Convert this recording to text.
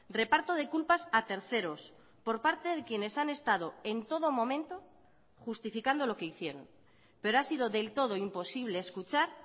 reparto de culpas a terceros por parte de quienes han estado en todo momento justificando lo que hicieron pero ha sido del todo imposible escuchar